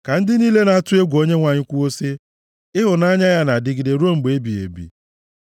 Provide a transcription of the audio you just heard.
Ka ndị niile na-atụ egwu Onyenwe anyị kwuo sị, “Ịhụnanya ya na-adịgide ruo mgbe ebighị ebi.”